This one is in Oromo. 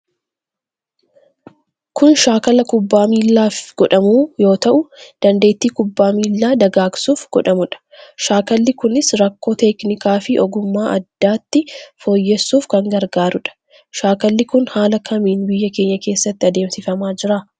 Kun shaakala kubbaa miilla fi godhamu yoo tahuu dandeetti kubbaa miillaa dagaagsuf godhamudha. Shaakkalli kunis rakko teknikaa fi ogummaa addatti fooyyessuuf kan gargaarudha. Shaakalli kun haala kamin biyya keenya keessatti adeemsifama jira?